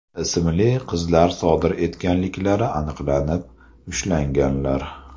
ismli qizlar sodir etganliklari aniqlanib, ushlanganlar.